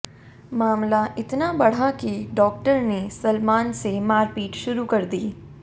मामला इतना बढ़ा कि डॉक्टर ने सलमान से मारपीट शुरू कर दी